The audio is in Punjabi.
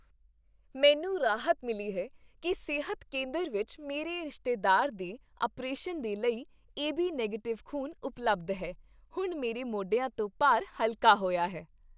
ਮੈਨੂੰ ਰਾਹਤ ਮਿਲੀ ਹੈ ਕਿ ਸਿਹਤ ਕੇਂਦਰ ਵਿੱਚ ਮੇਰੇ ਰਿਸ਼ਤੇਦਾਰ ਦੇ ਅਪਰੇਸ਼ਨ ਲਈ ਏਬੀ ਨੈਗੇਟਿਵ ਖ਼ੂਨ ਉਪਲਬਧ ਹੈ। ਹੁਣ ਮੇਰੇ ਮੋਢਿਆਂ ਤੋਂ ਭਾਰ ਹਲਕਾ ਹੋਇਆ ਹੈ।